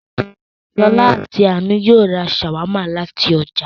Ṣọ̀lá àti Àánú yóò ra ṣàwámà láti ọjà